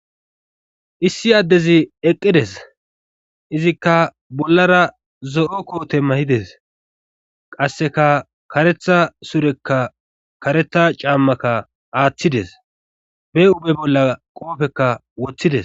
Issi addezi eqqides izikka bollara zo7o koote mahides qasseka karetha surekka karetha caammaka aaththides be ube bolla qoofekka woththides